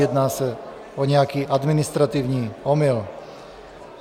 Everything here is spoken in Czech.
Jedná se o nějaký administrativní omyl.